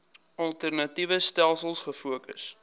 alternatiewe stelsels gefokus